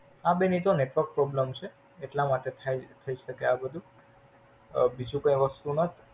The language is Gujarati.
હા બેન એ તો Network problem છે એટલામાટે થઇ છે આ બધું. અ બીજું કઈ વસ્તુ નાથ.